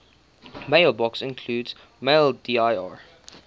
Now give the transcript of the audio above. mailboxes include maildir